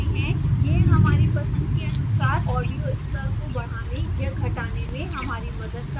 यह हमारी पसंद के अनुसार audio स्तर को बढ़ाने या घटाने में हमारी मदद करता है